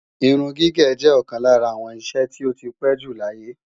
Irun gígé jẹ́ ọ̀kan lára àwọn iṣẹ́ tí ó ti pé jù láyé